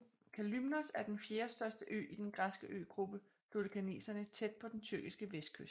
Kalymnos er den fjerdestørste ø i den græske øgruppe Dodekaneserne tæt på den tyrkiske vestkyst